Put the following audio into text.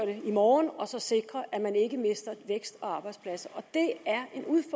det i morgen og sikre at man ikke mister vækst og arbejdspladser